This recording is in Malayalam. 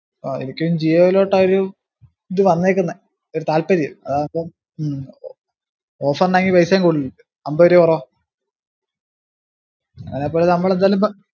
ആ എനിക്കും ജിയോയിലോട്ടാ ഒരു ഇത് വന്നേക്കിന്നെ ഒരു താൽപ്പര്യം അതാമ്പ ഉം offer ന് ആണേ പൈസേം കൂടില്ലല്ലോ അമ്പത് രൂപ കുറവാ അയിനിപ്പം നമ്മള് എന്തായാലും